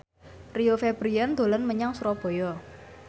Rio Febrian dolan menyang Surabaya